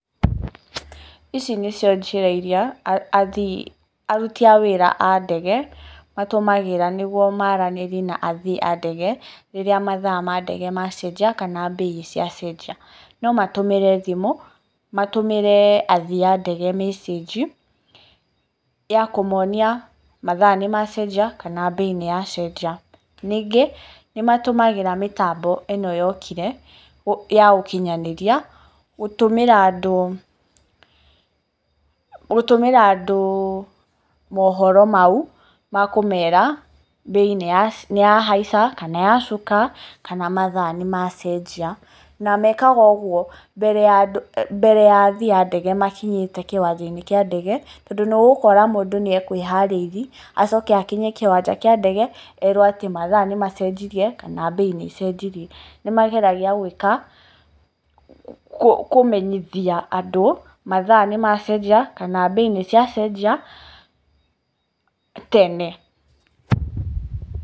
Ici nĩ cio njĩra iria athii, aruti a wĩra a ndege matũmagĩra nĩguo maaranĩrie na athii a ndege rĩrĩa mathaa ma ndege macĩnjia kana mbei ya ciacenjia. No matũmĩre thimũ, matũmire athii a ndege message ya kũmonia mathaa nĩmacenjia, kana mbei nĩ ya cenjia. Ningĩ nĩmatũmagĩra mĩtambo ĩno yokire ya ũkinyanĩria gũtũmĩra andũ, gũtũmĩra andũ mohoro mau ma kũmera mbei nĩ ya nĩ ya haica kana yacuka kana mathaa nĩmacenjia. Na mekaga ũguo mbere ya andũ, mbere ya athii a ndege makinyĩte kĩwanja-inĩ kĩa ndege tondũ nĩ ũgũkora mũndũ nĩ ekũĩharĩirie acoke akinye kĩwanja kĩa ndege erwo mathaa nĩmacenjiria kana mbei nĩ ĩcenjiria. Nĩmageragia gwĩka, kũmenyithia andũ mathaa nĩmacenjia kana mbei nĩciacenjia tene.